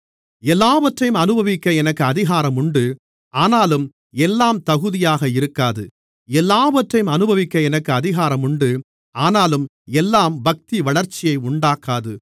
எல்லாவற்றையும் அநுபவிக்க எனக்கு அதிகாரம் உண்டு ஆனாலும் எல்லாம் தகுதியாக இருக்காது எல்லாவற்றையும் அநுபவிக்க எனக்கு அதிகாரம் உண்டு ஆனாலும் எல்லாம் பக்திவளர்ச்சியை உண்டாக்காது